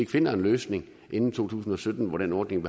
finde en løsning inden to tusind og sytten hvor den ordning